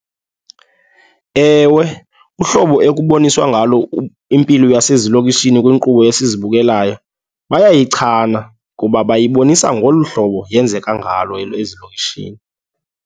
Ewe, uhlobo ekuboniswa ngalo impilo yasezilokishini kwiinkqubo esizibukelayo bayayichana ngoba bayaboniswa ngolu hlobo yenzeka ngalo ezilokishini.